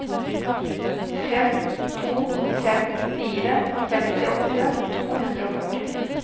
fem to fem fire femtiåtte to hundre og førti